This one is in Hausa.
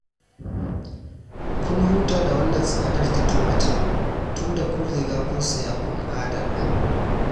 Kun huta da wannan tsadar ta tumatir, tunda kun riga kun saya kun adana